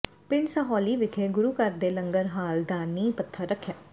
ਪਿੰਡ ਸਹੌਲੀ ਵਿਖੇ ਗੁਰੂ ਘਰ ਦੇ ਲੰਗਰ ਹਾਲ ਦਾ ਨੀਂਹ ਪੱਥਰ ਰੱਖਿਆ